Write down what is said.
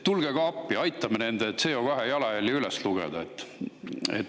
Tulge ka appi, aitame nende CO2 jalajälje üles lugeda!